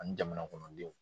Ani jamana kɔnɔdenw